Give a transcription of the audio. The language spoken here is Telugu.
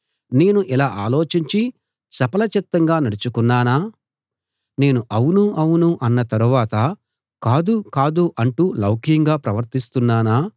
నేను ఇలా ఆలోచించి చపలచిత్తంగా నడచుకున్నానా నేను అవును అవును అన్న తరువాత కాదు కాదు అంటూ లౌక్యంగా ప్రవర్తిస్తున్నానా